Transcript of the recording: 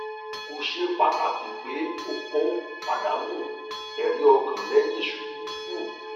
ko ṣe pataki pe o ko padanu ẹriọkan lẹhin isubu um